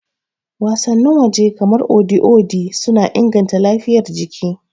Wasannin waje kamar Odi Odi suna inganta lafiyar jiki.